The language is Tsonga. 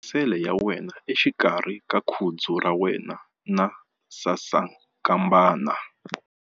Khoma penisele ya wena exikarhi ka khudzu ra wena na sasankambana.